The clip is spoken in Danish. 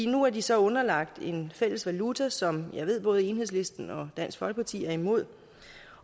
nu er de så underlagt en fælles valuta som jeg ved både enhedslisten og dansk folkeparti er imod